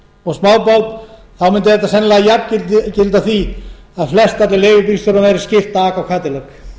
og smábáts mundi þetta sennilega jafngilda því að flestöllum leigubílstjórum væri skylt að aka á kádilják